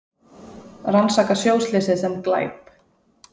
Rannsaka sjóslysið sem glæp